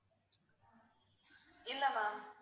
இல்ல ma'am